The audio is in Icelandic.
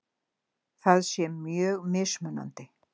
Það sé mjög mismunandi